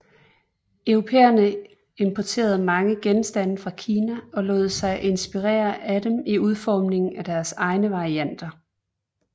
Europæerne importerede mange genstande fra Kina og lod sig inspirere af dem i udformning af deres egne varianter